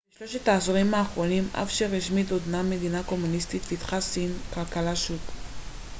בשלושת העשורים האחרונים אף שרשמית עודנה מדינה קומוניסטית פיתחה סין כלכלת שוק